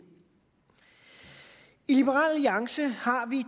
i liberal alliance har vi